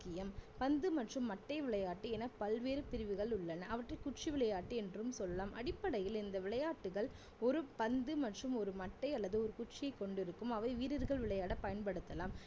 முக்கியம் பந்து மற்றும் மட்டை விளையாட்டு என பல்வேறு பிரிவுகள் உள்ளன அவற்றில் குச்சி விளையாட்டு என்றும் சொல்லலாம் அடிப்படையில் இந்த விளையாட்டுகள் ஒரு பந்து மற்றும் ஒரு மட்டை அல்லது ஒரு குச்சியை கொண்டிருக்கும் அவை வீரர்கள் விளையாட பயன்படுத்தலாம்